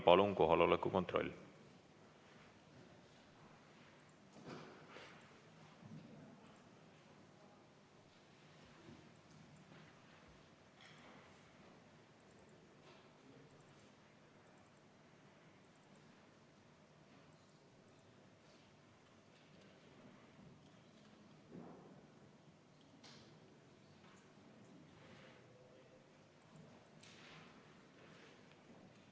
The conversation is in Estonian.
Palun kohaloleku kontroll!